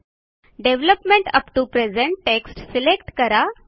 development app to present text select करा